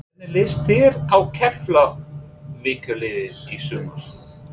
Hvernig lýst þér á Keflavíkurliðið í sumar?